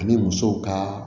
Ani muso ka